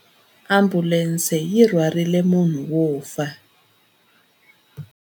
Ambulense yi rhwarile munhu wo fa.